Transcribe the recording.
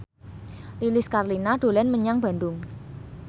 Lilis Karlina dolan menyang Bandung